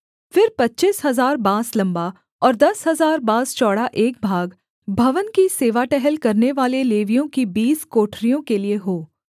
फिर पच्चीस हजार बाँस लम्बा और दस हजार बाँस चौड़ा एक भाग भवन की सेवा टहल करनेवाले लेवियों की बीस कोठरियों के लिये हो